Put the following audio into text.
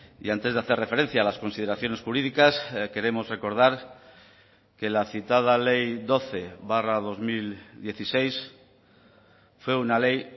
y antes de hacer referencia a las consideraciones jurídicas queremos recordar que la citada ley doce barra dos mil dieciséis fue una ley